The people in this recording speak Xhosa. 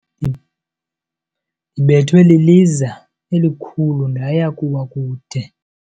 Ndibethwe liliza elikhulu ndaya kuwa kude.